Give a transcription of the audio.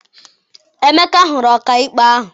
Emeka hụrụ ọkaikpe ahụ.